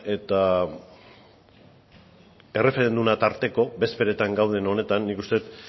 eta erreferenduma tarteko bezperetan gauden honetan nik uste dut